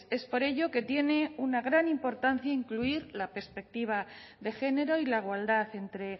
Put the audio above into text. es por ello que tiene una gran importancia incluir la perspectiva de género y la igualdad entre